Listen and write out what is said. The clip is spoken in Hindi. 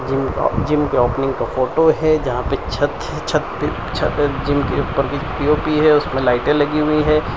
जिम का जिम के ओपनिंग का फोटो है जहां पे छत छत पे छत जिम के ऊपर भी पी_ओ_पी है उसमें लाइटें लगी हुई है।